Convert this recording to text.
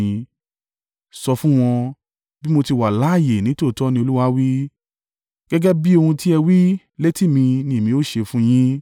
Sọ fún wọn, bí mo ti wà láààyè nítòótọ́ ni Olúwa wí, gẹ́gẹ́ bí ohun tí ẹ wí létí mi ni èmi ó ṣe fún un yín.